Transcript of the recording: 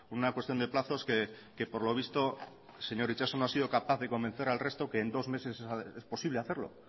una cuestión de plazos que por lo visto señor itxaso no ha sido capaz de convencer al resto que en dos meses es posible hacerlo